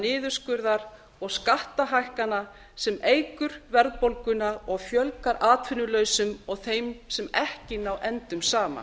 niðurskurðar og skattahækkana sem eykur verðbólguna og fjölgar atvinnulausum og þeim sem ekki ná endum saman